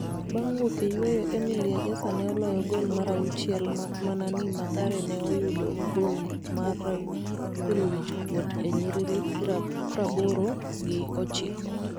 bang wuok e yweyo Emily Egesa ne oloyo gol mar auchiel maakmana ni Mathare ne oyudo golmar golowhich kuot e nyiriri praboro gi ochiko